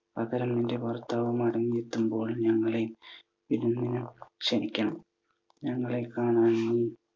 പകരം നിൻ്റെ ഭർത്താവു മടങ്ങിയെത്തുമ്പോൾ ഞങ്ങളെയും വിരുന്നിന് ക്ഷണിക്കണം. ഞങ്ങളെ കാണാനും